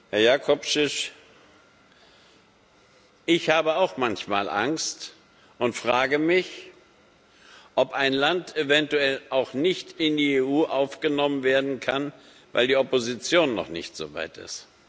Herr Jakovčić, ich habe auch manchmal Angst und frage mich, ob ein Land eventuell auch nicht in die EU aufgenommen werden kann, weil die Opposition noch nicht so weit ist.